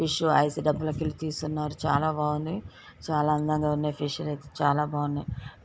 Fish అవి ice డబ్బాలోకెళ్ళి తీస్తున్నారు. చాలా బాగున్నై చాలా అందంగా ఉన్నాయ్. ఫిష్ లైతే చాలా బాగున్నాయి.